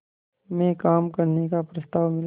में काम करने का प्रस्ताव मिला